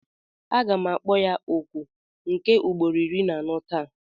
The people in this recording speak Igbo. Aga m akpọ ya oku nke ugboro iri na anọ taa.